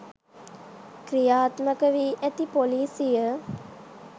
ක්‍රියාත්මක වී ඇති ‍පොලිසිය